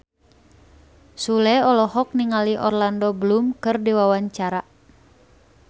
Sule olohok ningali Orlando Bloom keur diwawancara